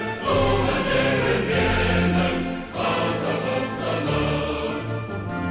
туған жерім менің қазақстаным